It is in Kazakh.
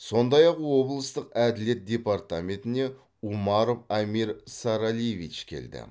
сондай ақ облыстық әділет департаментіне умаров амир саралиевич келді